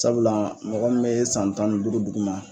Sabula mɔgɔ minɛ bɛ san tan ni duuru dugu ma